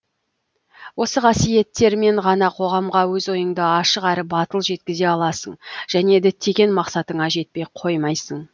осы қасиеттермен ғана қоғамға өз ойыңды ашық әрі батыл жеткізе аласың және діттеген мақсатыңа жетпей қоймайсың